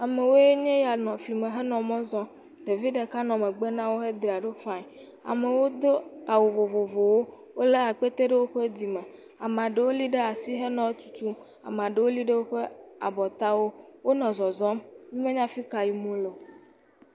Amewoe nya nɔ fli me henɔ mɔ zɔm. Ɖevi ɖeka nɔ megbe nawò. Wodzra ɖo fine. Amewo Do awu vovovowo. Wòle akpetee ɖe woƒe dzime. Ame aɖewo li ɖe asi henɔ etutum. Ame aɖewo li ɖe woƒe abɔtawo. Wonɔ zɔzɔm. Wo menye fika yim wole o.